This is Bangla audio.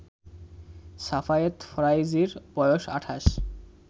সাফায়েত ফারাইজির বয়স ২৮